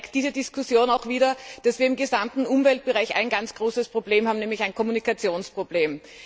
Diese Diskussion zeigt einmal mehr, dass wir im gesamten Umweltbereich ein ganz großes Problem haben, nämlich ein Kommunikationsproblem.